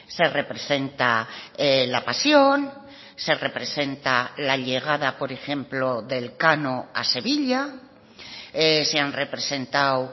se representa la pasión se representa la llegada por ejemplo de elcano a sevilla se han representado